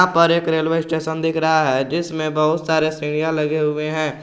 ऊपर एक railway station दिख रहा है जिसमें बहुत सारे सीढ़ियां लगे हुए हैं।